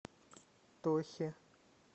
тохе